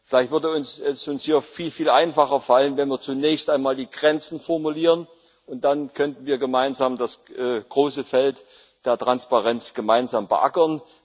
Vielleicht würde es uns hier viel, viel einfacher fallen, wenn wir zunächst einmal die Grenzen formulieren, und dann könnten wir das große Feld der Transparenz gemeinsam beackern.